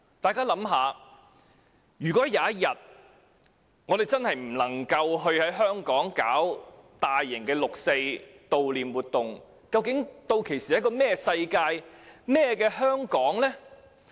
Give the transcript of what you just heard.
大家想想，如果有一天真的不能在香港舉行大型悼念六四的活動，究竟屆時會是怎麼樣的世界？